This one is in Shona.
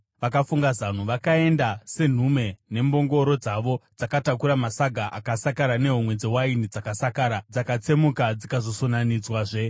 vakafunga zano: Vakaenda senhume nembongoro dzavo dzakatakura masaga akasakara nehomwe dzewaini dzakasakara, dzakatsemuka dzikasonanidzwazve.